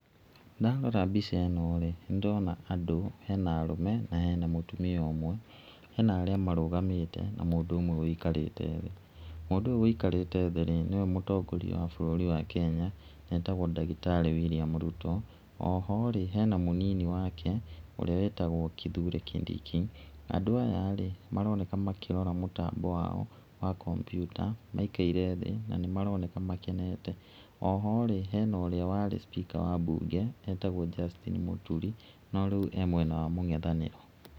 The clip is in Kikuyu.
Ndarora mbica ĩno rĩ, nĩ ndĩrona andũ, hena arũme, na hena mũtumia ũmwe. Hena arĩa marũgamĩte, na mũndũ ũmwe wũikarĩte thĩ. Mũndũ ũyũ wũikrĩte thĩ rĩ, nĩwe mũtongoria wa bũrũri wa Kenya, etagũo ndagĩtarĩ William Ruto, oho rĩ, hena mũnini wake, ũrĩa wĩtagwo Kithure Kindiki. Andũ aya rĩ, maroneka makĩríora mũtambo wao wa Kombiuta, maikaire thĩ na nĩ maroneka makenete. Oho rĩ, hena ũríĩ warĩ cipika wa mbnge etagwo Justine Mũturi, no rĩu e mwena wa mũng'ethanĩro.